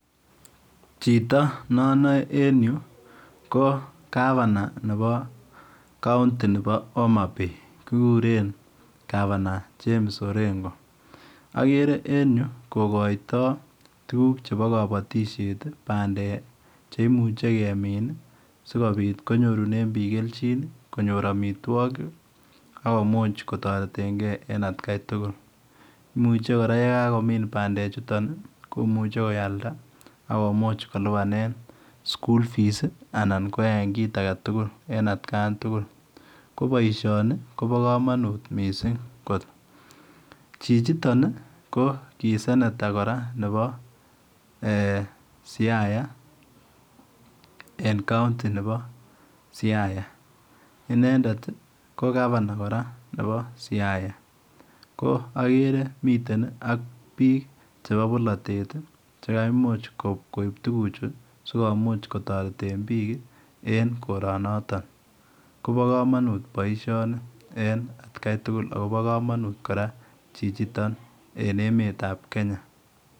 Chito ne anae en Yuu ko [governor] nebo county nebo homabay, kiguren [governor] James orengo agere en Yuu kogoitoi tuguuk chebo kabatisyeet ii pandeek ii cheimuiche konyoor amitwagiik akomuuch kotareteen gei en at gai tugul, imuuchei kora ye kagomiin pandeek chutoon ii komuchei koyalda akomuuch koyaen kit age tugul ko boisioni kobaa kamanuut Missing koot , chichitoon ii ko [sanator] kora nebo eeh siaya en county nebo siaya inendet kora ko [governor] nebo [county] nebo siaya ko agere miten ak biik chebo bolatet ii chekaimuuch koib tuguuk chuu sikomuuch kotareteen biik ii en korong notoon kobaa kamanuut boisioni en at gai tugul agobo kamanut kora chichitoon en emet ab Kenya.